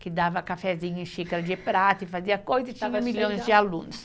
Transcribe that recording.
que dava cafezinho em xícara de prata e fazia coisa, e tinha milhões de alunos.